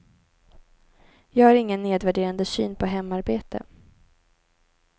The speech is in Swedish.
Jag har ingen nedvärderande syn på hemarbete.